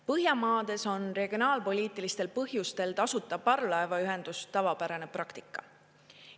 Põhjamaades on regionaalpoliitilistel põhjustel tasuta parvlaevaühendus tavapärane praktika.